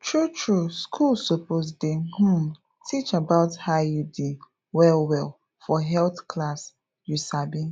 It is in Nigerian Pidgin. true true school suppose dey um teach about iud wellwell for health class you sabi